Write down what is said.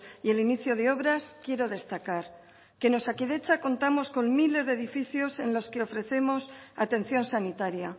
y el inicio de obras quiero destacar que en osakidetza contamos con miles de edificios en los que ofrecemos atención sanitaria